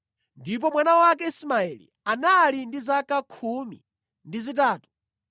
ndipo mwana wake Ismaeli anali ndi zaka khumi ndi zitatu;